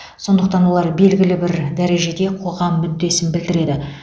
сондықтан олар белгілі бір дәрежеде қоғам мүддесін білдіреді